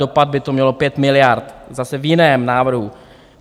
Dopad by to mělo pět miliard zase v jiném návrhu.